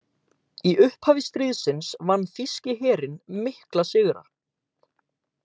Í upphafi stríðsins vann þýski herinn mikla sigra.